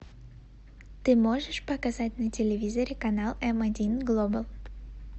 ты можешь показать на телевизоре канал м один глобал